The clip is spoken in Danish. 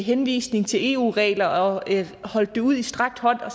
henvisning til eu regler og holdt det ud i strakt arm og